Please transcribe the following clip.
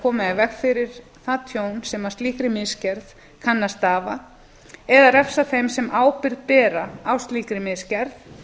koma í veg fyrir það tjón sem af slíkri misgerð kann að stafa eða refsa þeim sem ábyrgð bera á slíkri misgerð